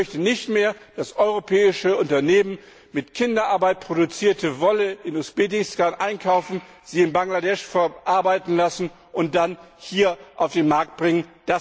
Ich möchte nicht mehr, dass europäische Unternehmen mit Kinderarbeit produzierte Wolle in Usbekistan einkaufen, sie in Bangladesch verarbeiten lassen und dann hier auf den Markt bringen.